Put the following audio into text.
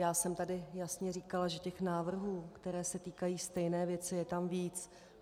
Já jsem tady jasně říkala, že těch návrhů, které se týkají stejné věci, je tam víc.